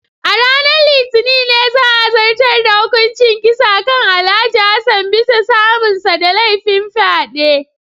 A ranar Litinin ne za a zartar da hukuncin kisa kan Alhj. Hassan bisa samunsa da laifin fyade.